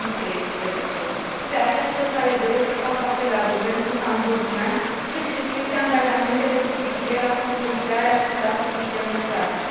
2013. Pe această cale doresc să fac apel la guvernul cambodgian să și respecte angajamentele cu privire la consolidarea statului democratic.